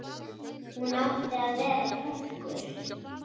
Hún átti að vera túlkur.